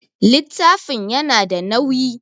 Littafin ya na da nauyi